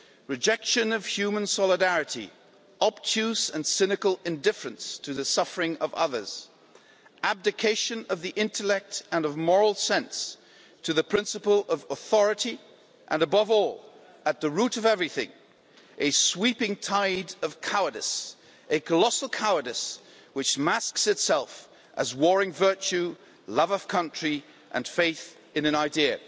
Rejection of human solidarity, obtuse and cynical indifference to the suffering of others, abdication of the intellect and of moral sense to the principle of authority, and above all, at the root of everything, a sweeping tide of cowardice, a colossal cowardice which masks itself as warring virtue, love of country and faith in an idea.'